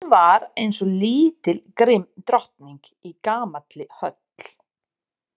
Hún var eins og lítil grimm drottning í gamalli höll.